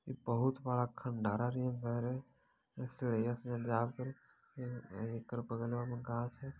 इ बहुत बड़ा खंडहरा नियर बा रे एकर बगलवा में गाछ है।